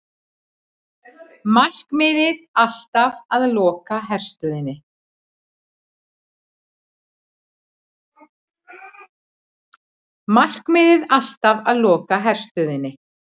Markmiðið alltaf að loka herstöðinni